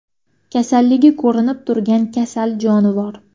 Kasalligi ko‘rinib turgan kasal jonivor.